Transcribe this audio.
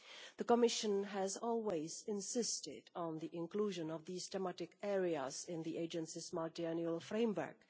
The Commission has always insisted on the inclusion of these thematic areas in the Agency's Multiannual Framework.